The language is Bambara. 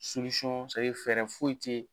fɛɛrɛ foyi tɛ.